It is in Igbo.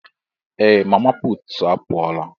Ee! Mama puutu a pụọla.